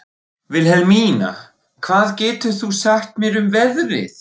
Vilhelmína, hvað geturðu sagt mér um veðrið?